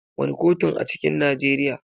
Wane kotun a cikin Nijeriya.